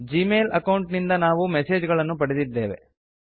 Gmail account ನಿಂದ ನಾವು message ಗಳನ್ನು ಪಡೆದಿದ್ದೇವೆ